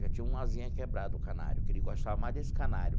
Já tinha uma asinha quebrada o canário, que ele gostava mais desse canário.